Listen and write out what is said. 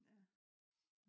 ja